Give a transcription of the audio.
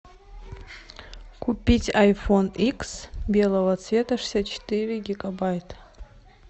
купить айфон икс белого цвета шестьдесят четыре гигабайта